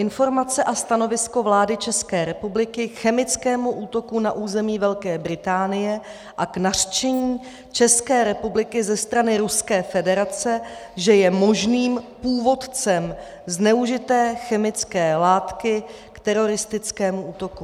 Informace a stanovisko vlády České republiky k chemickému útoku na území Velké Británie a k nařčení České republiky ze strany Ruské federace, že je možným původcem zneužité chemické látky k teroristickému útoku.